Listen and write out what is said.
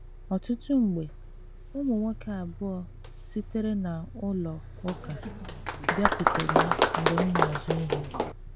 Ọtụtụ mgbe, ụmụ nwoke abụọ sitere na ụlọ ụka bịakwutere m mgbe m na - azụ ihe.